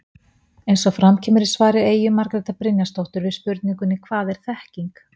Eins og fram kemur í svar Eyju Margrétar Brynjarsdóttur við spurningunni Hvað er þekking?